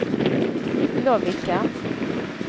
Lovikka